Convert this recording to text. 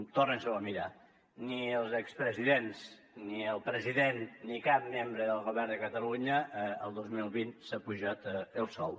torni s’ho a mirar ni els expresidents ni el president ni cap membre del govern de catalunya el dos mil vint s’ha apujat el sou